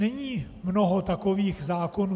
Není mnoho takových zákonů.